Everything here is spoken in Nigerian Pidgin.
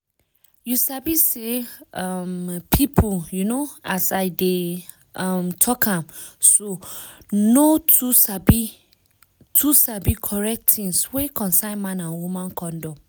you sabi say um pipu um as i dey um talk am so no too sabi too sabi correct tins wey concern man and woman condom.